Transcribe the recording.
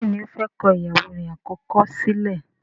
béèni ọ fè kọ ìyàwó rẹ̀ àkọ́kọ́ sílẹ̀.